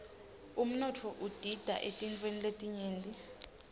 umnotfo udita eetintfweni letinyenti